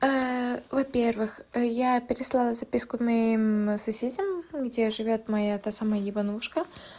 во-первых я переслала записку моим соседям где живёт моя та самая ебанушка